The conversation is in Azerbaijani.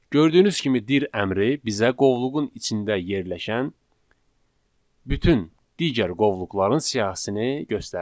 Gördüyünüz kimi dir əmri bizə qovluğun içində yerləşən bütün digər qovluqların siyahısını göstərdi.